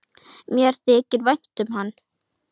Mér þykir vænt um hana.